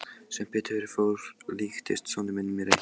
Sem betur fór líktist sonur minn mér ekki.